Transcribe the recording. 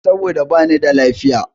Saboda bani da lafiya.